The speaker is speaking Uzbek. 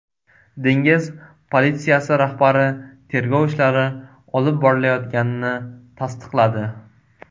Dengiz politsiyasi rahbari tergov ishlari olib borilayotganini tasdiqladi.